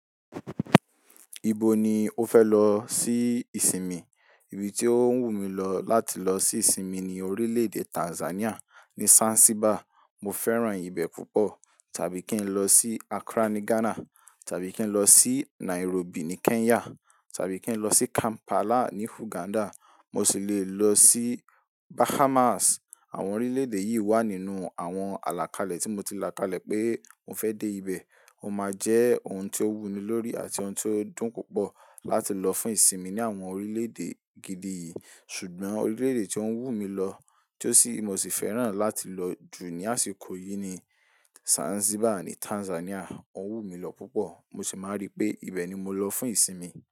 Ibo ni o fẹ lọ sí ìsinmi? Ibi tí ó ń wù mí lọ láti lọ sí ìsinmi ni orílẹ̀ẹ̀dè Tanzania ni Zanzibar. Mo fẹ́ràn ibẹ̀ púpọ̀. Tàbí kí n lọ sí Accra ní Ghana, tàbí kí n lọ sí Nairobi ní Kenya, tàbí kí n lọ sí Kampala ní Uganda. Mo sì le lọ sí Bahamas. Àwọn orílẹ̀ẹ̀dè yìí wà nínú àwọn àlàkalẹ̀ tí mo ti làkalẹ̀ pé mo fẹ́ dé ibẹ̀. Ó máa jẹ́ ohun tí ó wùmí lórí àti ohun tí ó dùn púpọ̀ láti lọ fún ìsinmi ní àwọn orílẹ̀ẹ̀dè gidi yìí. Ṣùgbọ́n orílẹ̀ẹ̀dè tí ó ń wù mí lọ tí mo sì fẹ́ràn láti lọ jù ní àsìkò yìí ni Zanzibar ní Tanzania. Ó ń wù mí lọ púpọ̀, mo sì máa rí pé ibẹ̀ ni mo lọ fún ìsinmi.